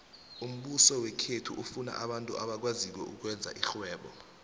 umbuso wekhethu ufuna abantu abakwaziko ukwenza irhwebo